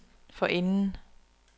forinden